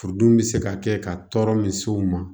Furudimi bɛ se ka kɛ ka tɔɔrɔ misiw ma